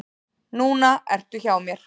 Núna ertu hjá mér.